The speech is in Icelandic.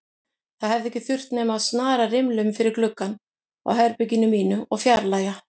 Það hefði ekki þurft nema að snara rimlum fyrir gluggann á herberginu mínu og fjarlægja